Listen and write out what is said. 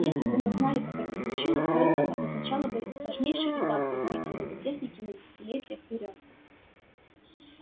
если бы мы знали как это случилось то это обозначало бы важнейший этап в развитии роботехники на десятилетия вперёд